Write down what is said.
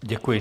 Děkuji.